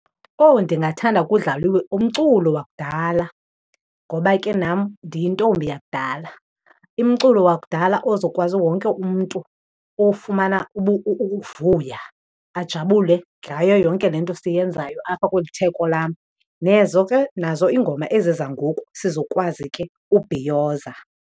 Owu! Ndingathanda kudlaliwe umculo wakudala ngoba ke nam ndiyintombi yakudala. Umculo wakudala ozokwazi wonke umntu ufumana uvuy,a ajabule ngayo yonke le nto siyenzayo apha kweli theko lam. Nezo ke, nazo ingoma ezi zangoku, sizokwazi ke ubhiyoza.